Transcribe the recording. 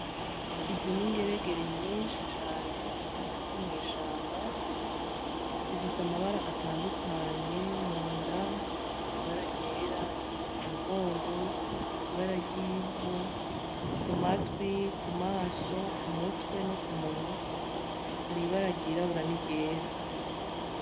Izi ni ingeregere nyinshi cane ziri hagati mw'ishamba zifise amabara atandukanye munda ibara ryera ku mugongo ibara ryivu ku matwi ku maso ku mutwe no ku munwa hari ibara ry'irabura n'iryera.